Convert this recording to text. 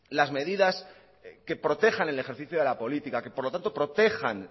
las medidas que protejan el ejercicio de la política que por lo tanto protejan